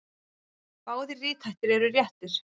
Báðir rithættir eru réttir.